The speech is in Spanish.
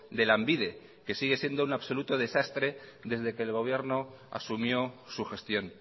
de lanbide que sigue siendo un absoluto desastre desde que el gobierno asumió su gestión